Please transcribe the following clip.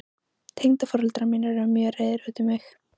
Tengdaforeldrar mínir eru mjög reiðir út í mig.